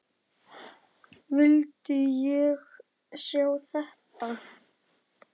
Vildi ég sjá þetta?